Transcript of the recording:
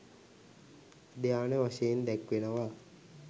ධ්‍යාන වශයෙන් දැක්වෙනවා.